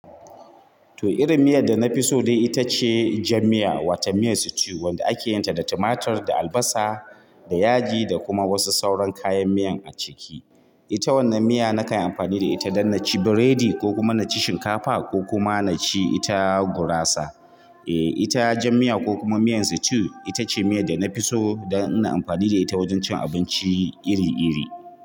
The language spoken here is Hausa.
To irin miyan da na fiso dai ita ce jan miya wato miyan stew, wanda akeyin ta da tumatur da albasa da yaji da kuma wasu sauran kayan miyan a ciki. Ita wannan miya na kan amfani da ita don na ci biredi ko kuma na ci shinkafa ko kuma na ci ita gurasa. Eh ita jan miya ko kuma miyan stew ita ce miya da na fi so don ina amfani da ita wajen cin abinci iri iri.